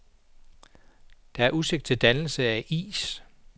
Der er udsigt til dannelse af is.